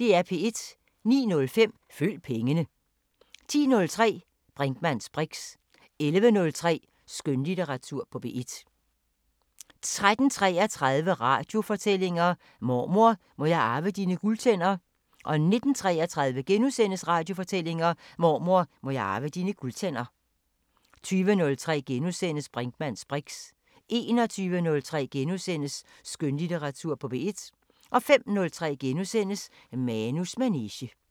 09:05: Følg pengene 10:03: Brinkmanns briks 11:03: Skønlitteratur på P1 13:33: Radiofortællinger: Mormor, må jeg arve dine guldtænder? 19:33: Radiofortællinger: Mormor, må jeg arve dine guldtænder? * 20:03: Brinkmanns briks * 21:03: Skønlitteratur på P1 * 05:03: Manus manege *